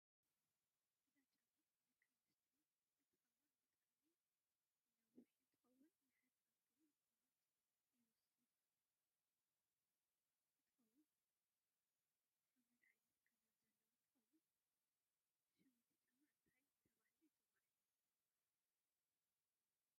እዚ ጫማ ናይ ደቂ ኣንስትዮ እንትከውን ብጣዓሚ ንውሕ እንትከውን ንሓፀርቲ እውን ቁመት ይውስከል እንትከውን ሓመድ ዓይነት ከረር ዘለዎ እንትከውን ሽም እቲ ጫማ እንታይ ተበሂሉ ይፅዋዕ ?